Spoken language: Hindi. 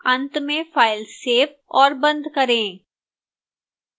अंत में file सेव और बंद करें